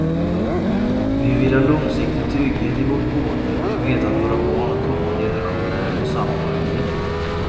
Vi vill ha långsiktig trygghet i vårt boende och veta att våra barn och kommande generationer får samma möjlighet.